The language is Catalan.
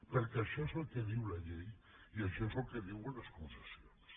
perquè això és el que diu la llei i això és el que diuen les concessions